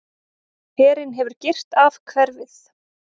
Herinn hefur girt af hverfið.